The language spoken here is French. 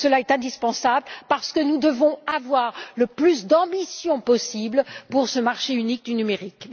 Cela est indispensable parce que nous devons avoir le plus d'ambition possible pour ce marché unique du numérique.